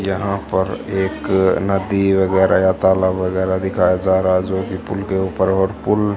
यहां पर एक नदी वगैरह या ताला वगैरह दिखाया जा रहा जो कि पुल के ऊपर और पुल--